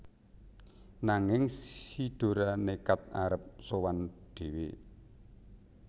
Nanging si Dora nékad arep sowan dhéwé